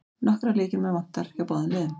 Nokkra lykilmenn vantar hjá báðum liðum